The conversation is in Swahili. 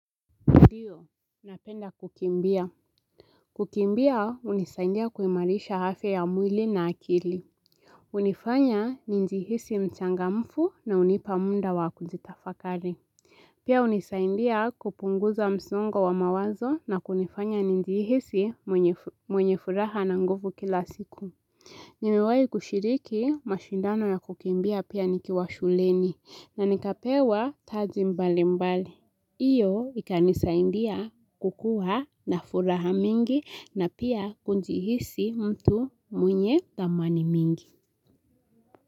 Ndiyo, napenda kukimbia. Kukimbia, hunisaindia kuimarisha afya ya mwili na akili. Hunifanya nijihisi mchangamfu na unipa mda wa kujitafakari. Pia unisaindia kupunguza msongo wa mawazo na kunifanya nijihisi mwenye furaha na nguvu kila siku. Nimewai kushiriki mashindano ya kukimbia pia nikiwa shuleni na nikapewa taji mbali mbali. Hiyo ikanisaidia kukuwa na furaha mingi na pia kujihisi mtu mwenye thamani mingi.